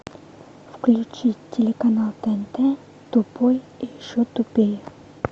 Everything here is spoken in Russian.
включить телеканал тнт тупой и еще тупее